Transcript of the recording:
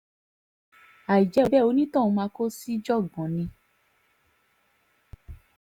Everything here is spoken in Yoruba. àìjẹ́ bẹ́ẹ̀ onítọ̀hún máa kó síjàngbọ̀n ni